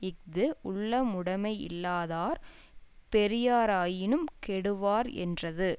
இஃது உள்ளமுடைமை யில்லாதார் பெரியராயினும் கெடுவார் என்றது